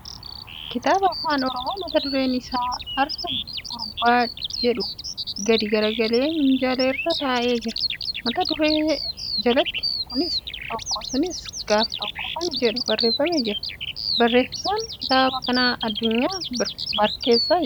Kitaaba Afaan Oromoo mata dureen isaa' Arraa Gurbaa jiedhu gadi garagalee minjaala irra taa'eee jira. Mata duree jalatti ' Kunis tokko; sunis gaaf tokko' kan jedhu barreeffamee jira. Barreessaan kitaaba kanaa Addunyaa Barkeessaa jedhama.